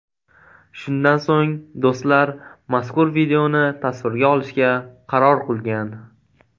Shundan so‘ng do‘stlar mazkur videoni tasvirga olishga qaror qilgan.